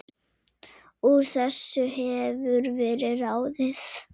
Úr þessu hefur verið ráðið